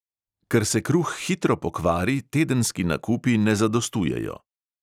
Ker se kruh hitro pokvari, tedenski nakupi ne zadostujejo.